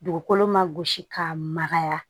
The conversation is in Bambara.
Dugukolo ma gosi k'a magaya